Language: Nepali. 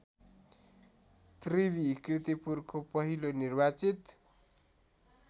त्रिवि कीर्तिपुरको पहिलो निर्वाचित